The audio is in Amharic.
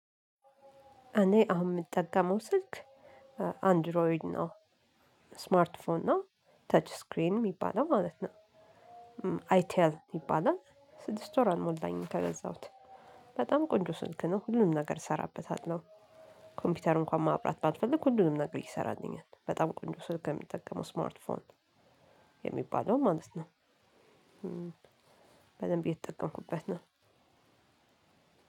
እኔ አሁን የምጠቀመው ስልክ አንድሮይድ ነው ስማርት ፎን ነው ተች ስክሪን የሚባለው ማለት ነው። አይ ቴል ይባላል ስድስት ወር አልሞላኝም ከገዛሁት። በጣም ቆንጆ ስልክ ነው ሁሉም ነገር እሰራበታለሁ። ኮምፒውተር እንኳን ማብራት ባትፈልግ ሁሉንም ነገር ይሰራልኛል በጣም ቆንጆ ስልክ የምጠቀመው ስማርት ፎን የሚባለውን ማለት ነው። በደምብ የተጠቀምኩበት ነው።